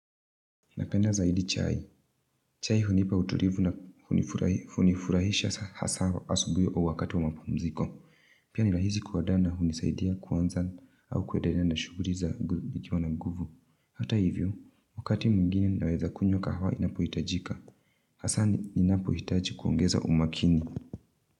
Napenda zaidi chai. Chai hunipa utuivu na hunifurahisha hasa asubui au wakati wa mapumziko. Pia nirahizi kuadaa na hunisaidia kuanza au kuedelea na shuguri zagu nikiwa na guvu. Hata hivyo, wakati mwingine naweza kunywa kahawa inapo itajika. Asa ninapo itaji kuongeza umakini.